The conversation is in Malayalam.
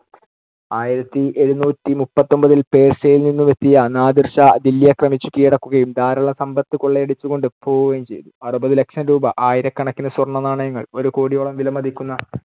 ആയിരത്തിഎഴുനൂറ്റി മുപ്പത്തിയൊൻപതിൽ പേർഷ്യയിൽ നിന്നുമെത്തിയ നാദിർ ഷാ, ദില്ലി ആക്രമിച്ചു കീഴടക്കുകയും ധാരാളം സമ്പത്തു കൊള്ളയടിച്ചുകൊണ്ടു പോകുകയും ചെയ്തു. അറുപതു ലക്ഷം രൂപ, ആയിരക്കണക്കിന്‌ സ്വർണനാണയങ്ങൾ, ഒരു കോടിയോളം വിലമതിക്കുന്ന